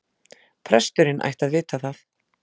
Presturinn ætti að vita það.